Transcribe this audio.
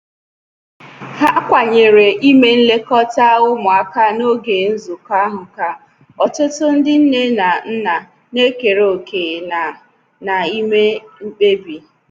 Ha kwanyere ime nlekọta ụmụaka n'oge nzụkọ ha ka ọtụtụ ndi nne na nna na-ekere òkè na na ime mkpebi